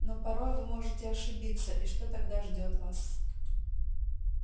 но порой вы можете ошибиться и что тогда ждёт вас